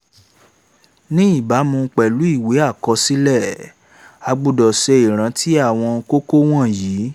ní ìbámu pẹ̀lú ìwé àkọsílẹ̀ a gbọ́dọ̀ ṣe ìrántí àwọn kókó wọ̀nyí: